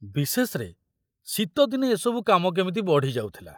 ବିଶେଷରେ ଶୀତଦିନେ ଏ ସବୁ କାମ କେମିତି ବଢ଼ି ଯାଉଥିଲା।